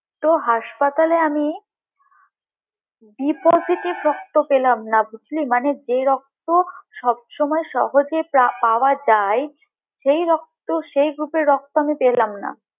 তো হাসপাতালে আমি b positive রক্ত পেলাম না বুঝলি মানে যে রক্ত সবসময় সহজে পাওয়া যায় সে রক্ত তো সেই group এর রক্ত আমি পেলাম না